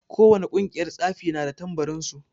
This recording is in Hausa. Ko wane ƙungiyar tsafi na da tambarin su.